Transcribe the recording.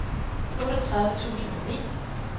otteogtredive tusind og ni